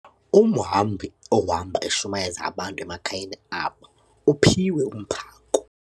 Umhambi ohamba eshumayeza abantu emakhayeni abo uphiwe umphako.